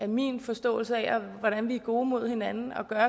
min forståelse af hvordan vi er gode mod hinanden at gøre